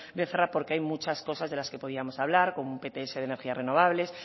becerra porque hay muchas cosas de las que podíamos hablar como pts de energías renovables